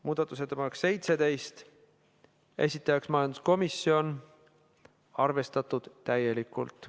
Muudatusettepanek nr 17, esitajaks majanduskomisjon, arvestatud täielikult.